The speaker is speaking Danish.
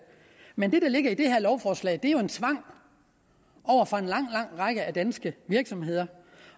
men det der ligger i det her lovforslag er jo en tvang over for en lang lang række danske virksomheder